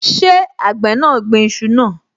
Ṣé àgbẹ̀ náà gbin iṣu náà?